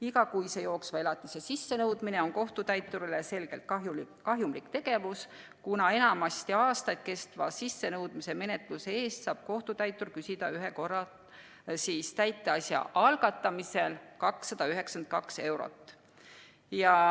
Igakuise jooksva elatise sissenõudmine on kohtutäiturile selgelt kahjumlik tegevus, kuna enamasti aastaid kestva sissenõudmismenetluse eest saab kohtutäitur küsida tasu ühe korra, täiteasja algatamisel 292 eurot.